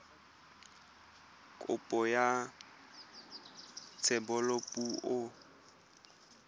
kopo ya thebolo ya poo